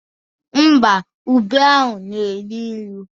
Ḿbà, ube ahụ na-enu inu